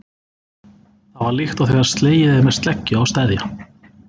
Það var líkt og þegar slegið er með sleggju á steðja.